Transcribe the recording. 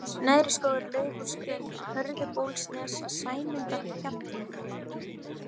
Neðriskógur, Laufásgrunn, Hörðubólsnes, Sæmundarhjalli